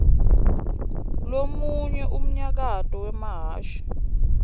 lomunye unyaito wemahhashi